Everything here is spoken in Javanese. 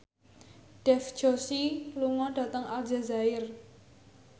Dev Joshi lunga dhateng Aljazair